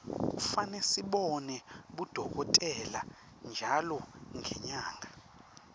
kufane sibone bodokotela ntjalo ngenyanga